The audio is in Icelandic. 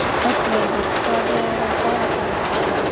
Oddleifur, hvað er á dagatalinu í dag?